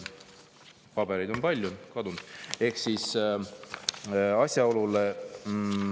Pabereid on palju, see on kadunud …